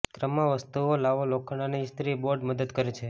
ક્રમમાં વસ્તુઓ લાવો લોખંડ અને ઇસ્ત્રી બોર્ડ મદદ કરે છે